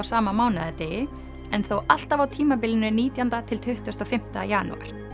sama mánaðardegi en þó alltaf á tímabilinu nítjándi til tuttugasta og fimmta janúar